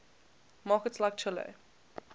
markets like chile